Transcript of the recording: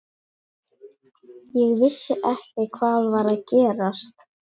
Ég vissi ekki hvað var að gerast.